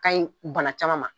O ka ɲi bana caman ma.